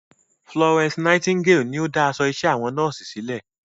Florence Nightingale ni o dá aṣọ iṣẹ́ àwọn nọ́ọ̀sì sílẹ̀.